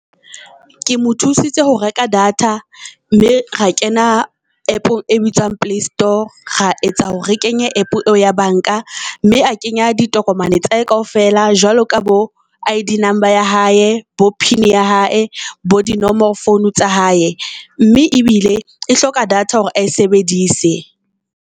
Ke mo thusitse ho reka data mme ra kena app-ong e bitswang playstore, ra etsa hore re kenye app eo ya bank-a mme a kenya ditokomane tsa hae kaofela. Jwalo ka bo I_D number ya hae, bo pin ya hae bo di nomoro founo tsa hae. Mme ebile e hloka data hore a e sebedise.